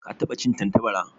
Ka taba cin Tantabara?